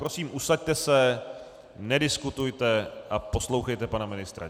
Prosím, usaďte se, nediskutujte a poslouchejte pana ministra.